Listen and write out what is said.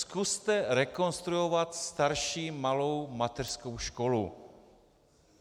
Zkuste rekonstruovat starší malou mateřskou školu.